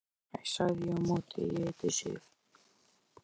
Hæ, sagði ég á móti, ég heiti Sif.